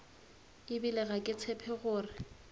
ebile ga ke tshepe gore